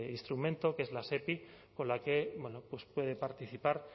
instrumento que es las epi con la que puede participar